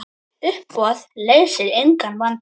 Uppboð leysir engan vanda.